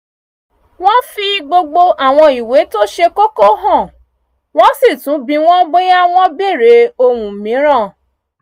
wọ́n fi gbogbo àwọn ìwé tó ṣe kóko hàn wọ́n sì tún bi wọ́n bóyá wọ́n bèrè ohun mìíràn